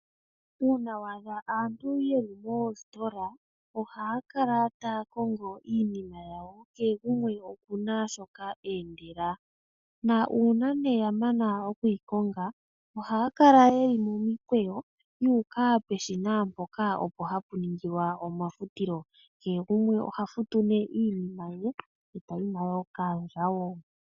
Uuna wa adha aantu ye li moositola ohaya kala taya kongo iinima yawo kehe gumwe oku na shoka e endela. Nuuna ya mana oku yi koonga ohaya kala ye li momikweyo yuuka peshina mpoka opo hapu ningilwa omafutilo. Kehe gumwe oha futu nee iinima ye e ta yi nayo kaandjawo.